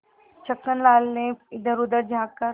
छक्कन लाल ने इधरउधर झॉँक कर